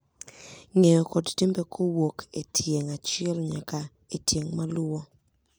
Ng’eyo kod timbe kowuok e tieng' achiel nyaka e tieng' maluwo.